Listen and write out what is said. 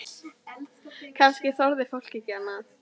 Kannski þorði fólk ekki annað?